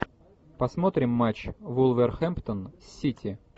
посмотрим матч вулверхэмптон с сити